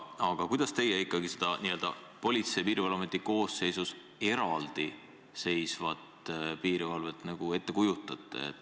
Aga kuidas teie ikkagi seda Politsei- ja Piirivalveameti koosseisus eraldi seisvat piirivalvet ette kujutate?